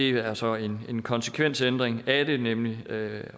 er så en konsekvensændring af det nemlig at